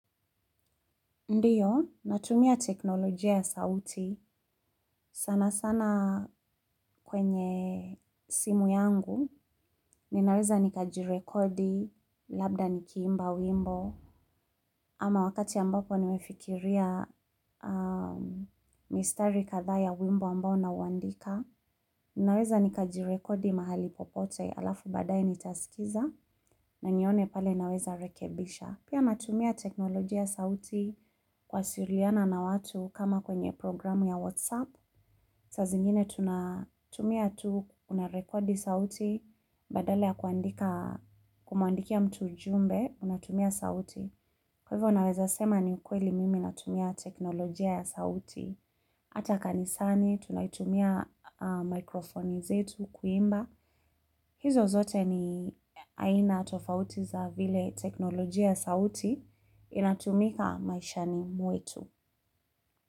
Ndiyo, natumia teknolojia ya sauti sana sana kwenye simu yangu, ninaweza nikajirekodi labda nikiimba wimbo. Ama wakati ambapo nimefikiria mistari kadhaa ya wimbo ambao nauandika, ninaweza nikajirekodi mahali popote alafu baadaye nitasikiza na nione pale naweza rekebisha. Pia natumia teknolojia ya sauti kuwasiliana na watu kama kwenye programu ya WhatsApp. Saa zingine tunatumia tu unarekodi sauti badala ya kumuandikia mtu ujumbe, unatumia sauti. Kwa hivyo unaweza sema ni ukweli mimi natumia teknolojia ya sauti. Hata kanisani, tunaitumia microphone zetu kuimba. Hizo zote ni aina tofauti za vile teknolojia ya sauti inatumika maishani mwetu.